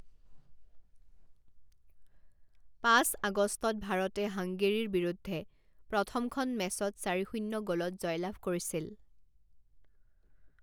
পাঁচ আগষ্টত ভাৰতে হাংগেৰীৰ বিৰুদ্ধে প্ৰথমখন মেচত চাৰি শূণ্য গ'লত জয়লাভ কৰিছিল।